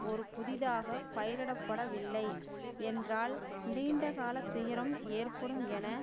ஒரு புதிதாக பயிரிடப்படவில்லை என்றால் நீண்ட கால துயரம் ஏற்படும் என